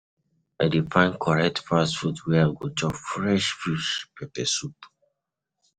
I dey find correct fast food where I go chop fresh fish pepper soup.